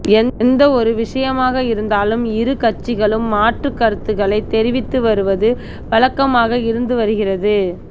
எந்த ஒரு விஷயமாக இருந்தாலும் இரு கட்சிகளும் மாற்றுக் கருத்துக்களை தெரிவித்து வருவது வழக்கமாக இருந்து வருகிறது